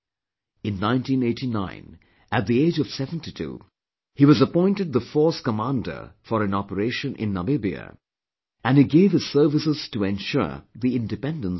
In 1989, at the age of 72, he was appointed the Force Commander for an operation in Namibia and he gave his services to ensure the Independence of that country